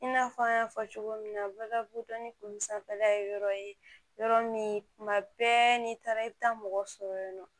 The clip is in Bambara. I n'a fɔ an y'a fɔ cogo min na baga ni kulu sanfɛla ye yɔrɔ ye yɔrɔ min tuma bɛɛ n'i taara i bɛ taa mɔgɔ sɔrɔ yen nɔ